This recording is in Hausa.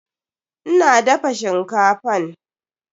Ina dafa shinkafan.